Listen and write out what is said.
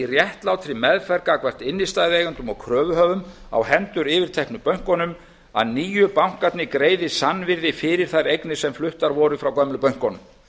réttlátri meðferð gagnvart innstæðueigendum og kröfuhöfum á hendur yfirteknu bönkunum að nýju bankarnir greiði sannvirði fyrir þær eignir sem fluttar voru frá gömlu bönkunum